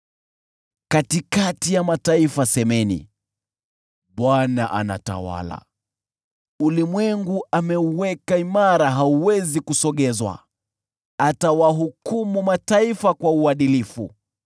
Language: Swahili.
Katikati ya mataifa semeni, “ Bwana anatawala.” Ulimwengu ameuweka imara, hauwezi kusogezwa; atawahukumu watu kwa uadilifu.